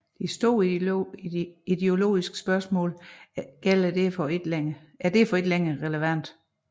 De store ideologiske spørgsmål er derfor ikke længere relevante